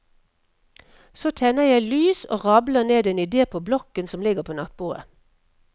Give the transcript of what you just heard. Så tenner jeg lys og rabler ned en idé på blokken som ligger på nattbordet.